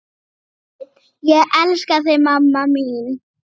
Þú getur kannski notað það.